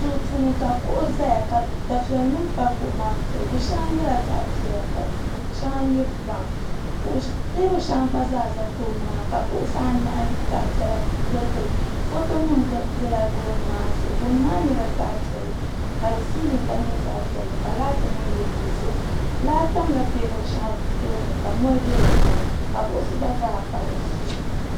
duu puuni ka kuɣu ʒɛya ka dufɛli nim pa kuɣu maa zuɣu di shɛli nyɛla zaɣ piɛla ka shɛŋa nyɛ biraawn teebuli shɛli gba zaa ʒɛ tooni maa ka kuɣusi anahi zaɣ piɛla giligi li foto nim biɛla gooni maa zuɣu gooni maa nyɛla zaɣ piɛlli ka di siilin gba nyɛ zaɣ piɛlli ka laati nim yili dizuɣu laa tamla teebuli shɛŋa tooni ka mɔri bɛ di puuni ka buku gba zaa pa dizuɣu